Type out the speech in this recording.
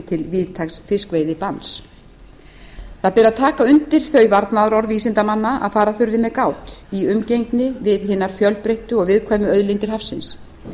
til víðtæks fiskveiðibanns það ber að taka undir þau varnaðarorð vísindamanna að fara þurfi með gát í umgengni við hinar fjölbreyttu og viðkvæmu auðlindir hafsins